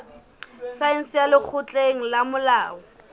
saense ya lekgotleng la molao